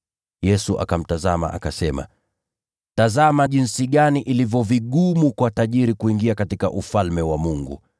Yesu akamtazama, akasema, “Tazama jinsi ilivyo vigumu kwa tajiri kuingia katika Ufalme wa Mungu!